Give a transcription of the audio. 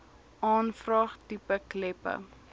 aanvraag tipe kleppe